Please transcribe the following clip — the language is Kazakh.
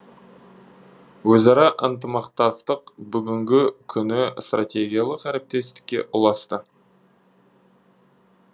өзара ынтымақтастық бүгінгі күні стратегиялық әріптестікке ұласты